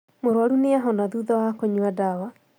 Mũrũaru nĩahona thutha wa kũnyua ndawa